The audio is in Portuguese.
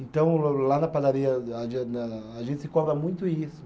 Então, lá na padaria, a a a gente se cobra muito isso.